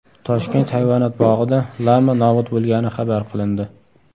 Toshkent hayvonot bog‘ida lama nobud bo‘lgani xabar qilindi.